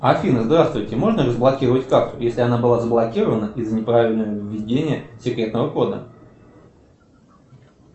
афина здравствуйте можно разблокировать карту если она была заблокирована из за неправильного введения секретного кода